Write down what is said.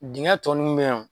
Dingɛn tɔ nunnu be yan o